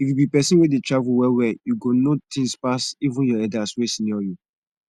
if you be pesin wey dey travel well well u go know things pas even your elders wey senior you